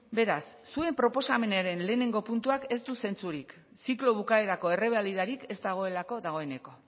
beraz zuen proposamenaren lehenengo puntuak ez du zentzurik ziklo bukaerako errebalidarik ez dagoelako dagoeneko